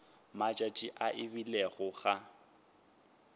matšatši a e bile ga